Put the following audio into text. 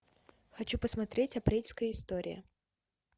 хочу посмотреть апрельская история